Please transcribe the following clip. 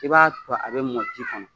I b'a to a be mɔ ji kɔnɔ.